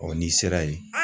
Ɔ n'i sera yen